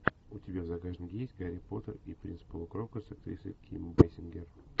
у тебя в загашнике есть гарри поттер и принц полукровка с актрисой ким бейсингер